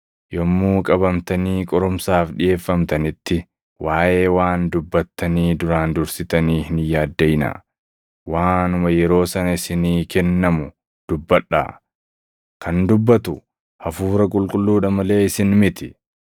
Yommuu qabamtanii qorumsaaf dhiʼeeffamtanitti waaʼee waan dubbattanii duraan dursitanii hin yaaddaʼinaa. Waanuma yeroo sana isinii kennamu dubbadhaa; kan dubbatu Hafuura Qulqulluudha malee isin miti.